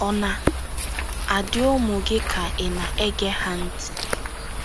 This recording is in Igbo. Ọ̀ na - adị ụmụ gị ka ị̀ na - ege ha ntị?